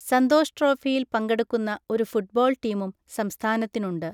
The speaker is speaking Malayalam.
സന്തോഷ് ട്രോഫിയിൽ പങ്കെടുക്കുന്ന ഒരു ഫുട്ബോൾ ടീമും സംസ്ഥാനത്തിനുണ്ട്.